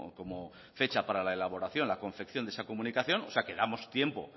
como fecha para la elaboración la confección de esa comunicación o sea que damos tiempo